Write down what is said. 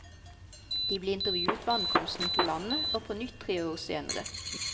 De ble intervjuet ved ankomsten til landet, og på nytt tre år senere.